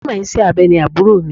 Onímọ̀ iṣẹ́ abẹ ni àbúrò mi.